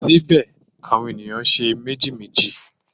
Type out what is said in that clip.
Síbẹ̀ àwọn ènìyàn ń ṣe méjèèjì.